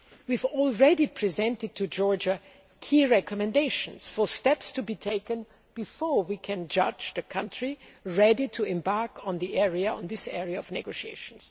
area. We have already presented to Georgia key recommendations for steps to be taken before we can judge the country ready to embark on this area of negotiations.